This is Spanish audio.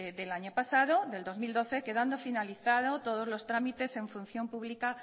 del año pasado del dos mil doce quedando finalizado todos los trámites en función pública